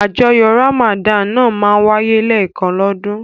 Àjọyọ̀ Ramadan náà máa ń wáyé lẹ́ẹ̀kan lọ́dún.